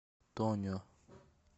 тонио